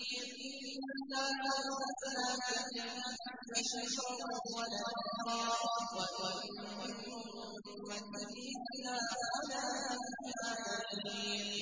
إِنَّا أَرْسَلْنَاكَ بِالْحَقِّ بَشِيرًا وَنَذِيرًا ۚ وَإِن مِّنْ أُمَّةٍ إِلَّا خَلَا فِيهَا نَذِيرٌ